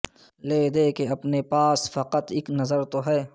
لے دے کے اپنے پاس فقط اک نظر تو ہے